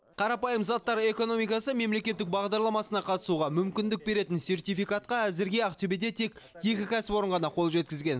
қарапайым заттар экономикасы мемлекеттік бағдарламасына қатысуға мүмкіндік беретін сертификатқа әзірге ақтөбеде тек екі кәсіпорын ғана қол жеткізген